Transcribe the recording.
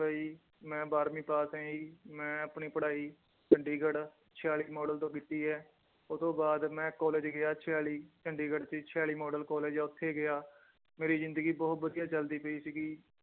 ਲਈ ਮੈਂ ਬਾਰਵੀਂ ਪਾਸ ਹੈ ਜੀ ਮੈਂ ਆਪਣੀ ਪੜ੍ਹਾਈ ਚੰਡੀਗੜ੍ਹ ਛਿਆਲੀ ਮਾਡਲ ਤੋਂ ਕੀਤੀ ਹੈ ਉਹ ਤੋਂ ਬਾਅਦ ਮੈਂ ਕਾਲਜ ਗਿਆ ਛਿਆਲੀ ਚੰਡੀਗੜ੍ਹ ਚ ਛਿਆਲੀ ਮਾਡਲ ਕਾਲਜ ਆ ਉੱਥੇ ਗਿਆ ਮੇਰੀ ਜ਼ਿੰਦਗੀ ਬਹੁਤ ਵਧੀਆ ਚੱਲਦੀ ਪਈ ਸੀਗੀ